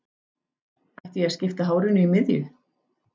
Ætti ég að skipta hárinu í miðju?